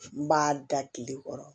N b'a da tile kɔrɔ